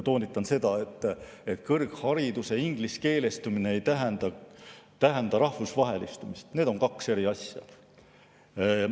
Toonitan, et kõrghariduse ingliskeelestumine ei tähenda rahvusvahelistumist, need on kaks eri asja.